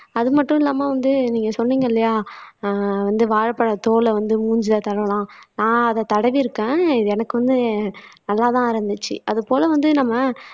அது மட்டும் இல்லாம வந்து நீங்க சொன்னீங்க இல்லையா ஆஹ் வந்து வாழைப்பழத் தோல வந்து மூஞ்சியில தடவலாம் நான் அதைத் தடவி இருக்கேன். எனக்குமே நல்லாதான் இருந்துச்சு அது போல வந்து நம்ம